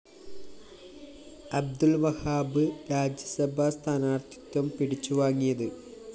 അബ്ദുള്‍ വഹാബ് രാജ്യസഭാ സ്ഥാനാര്‍ത്ഥിത്വം പിടിച്ചുവാങ്ങിയത്